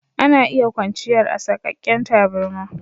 Ana iya kwanchiyar a saƙaken taburma.